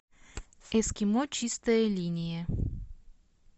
эскимо чистая линия